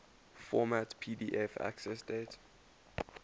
format pdf accessdate